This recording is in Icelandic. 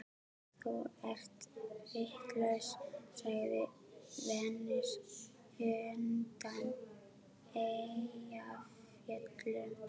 Þú ert vitlaus, sagði Venus undan Eyjafjöllum.